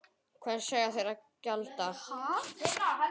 Hvers eiga þeir að gjalda?